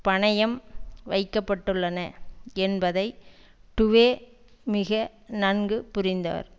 பணையம் வைக்க பட்டுள்ளன என்பதை டுவே மிக நன்கு புரிந்தார்